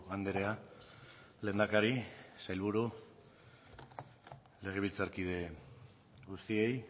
andrea lehendakari sailburu legebiltzarkide guztiei